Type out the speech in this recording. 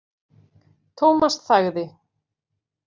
Thomas þagði.